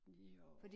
Jo